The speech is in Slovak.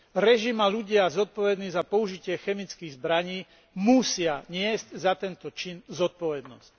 Režim a ľudia zodpovední za použitie chemických zbraní musia niesť za tento čin zodpovednosť.